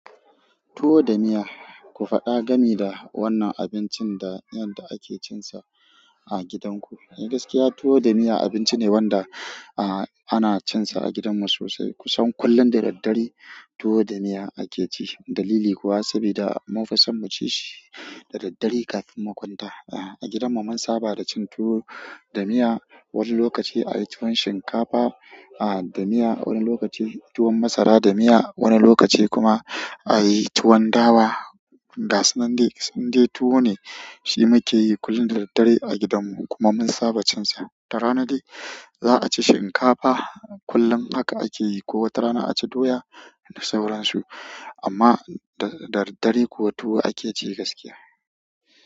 Tuwo da miya, ku faɗa gani da wannan abincin da yadda ake cinsa a gidanku. Ni gaskiya tuwo da miya abinci ne wanda ah ana cinsa a gidanmu sosai. Kusan kullum da daddare tuwo da miya ake ci. Dalili kuwa sabida mun fi san mu ci shi da daddare kafin mu kwanta. Ah a gidanmu mun saba da cin tuwo da miya. Wani lokaci a yi tuwon shinkafa ah da miya, wani lokaci tuwon masara da miya, wani lokaci kuma a yi tuwon dawa. Ga su nan dai indai tuwo ne shi muke yi kullum da daddare a gidanmu. Kuma mun saba cinsa. Da rana de za a ci shinkafa kullum haka ake yi. Ko wata rana aci doya da sauran su amma da daddare kuwa tuwo ake ci gaskiya.